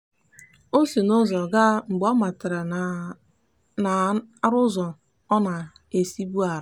o si ụzọ ọzọ gaa mgbe ọ matara na a na-arụ ụzọ ọ na-esibu arụ.